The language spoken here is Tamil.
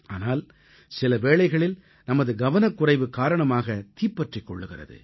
ஆனால் சில வேளைகளில் நமது கவனக்குறைவு காரணமாகத் தீப்பற்றிக் கொள்கிறது